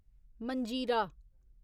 मंजीरा